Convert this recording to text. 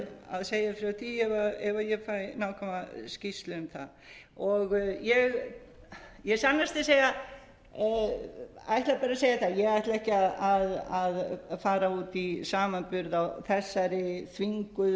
að segja frá því ef fæ nákvæma skýrslu um það ég sannast að segja ætla bara að segja það að ég ætla ekki að fara út í samanburð á þessari þvinguðu